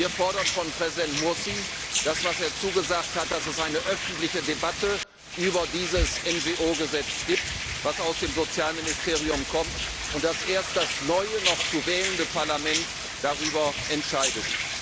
Wir fordern von Präsident Mursi das, was er zugesagt hat dass es eine öffentliche Debatte über dieses NGO Gesetz aus dem Sozialministerium gibt, und dass erst das neue noch zu wählende Parlament darüber entscheidet.